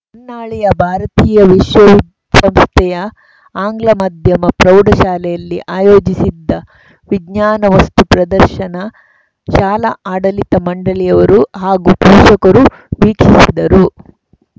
ಹೊನ್ನಾಳಿಯ ಭಾರತೀಯ ವಿಶ್ವಸಂಸ್ಥೆಯ ಆಂಗ್ಲ ಮಾಧ್ಯಮ ಪ್ರೌಢ ಶಾಲೆಯಲ್ಲಿ ಆಯೋಜಿಸಿದ್ದ ವಿಜ್ಞಾನ ವಸ್ತು ಪ್ರದರ್ಶನ ಶಾಲಾ ಆಡಳಿತ ಮಂಡಳಿಯವರು ಹಾಗೂ ಪೋಷಕರು ವೀಕ್ಷಿಸಿದರು